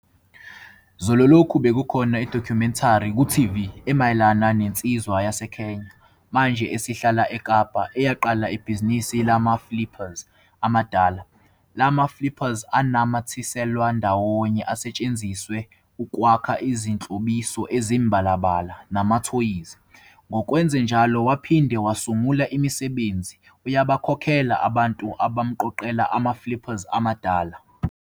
Zolo lokhu bekukhona idokhumentari ku-TV emayelana nensizwa yaseKenya, manje esihlala eKapa, eyaqala ibhizinisi lama-flippers amadala. La ma-flippers anamathiselwa ndawonye asetshenziswa ukwakha imihlobiso emibalabala namathoyizi. Ngokwenze njalo waphinde wasungula imisebenzi - uyabakhokhela abantu abamqoqela ama-flippers amadala.